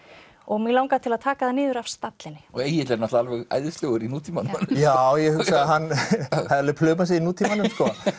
mig langar til að taka það niður af stallinum Egill er náttúrulega æðislegur í nútímanum já ég hugsa að henni hefði alveg plumað sig í nútímanum